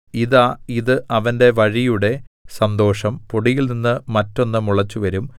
ഇതാ ഇത് അവന്റെ വഴിയുടെ സന്തോഷം പൊടിയിൽനിന്ന് മറ്റൊന്ന് മുളച്ചുവരും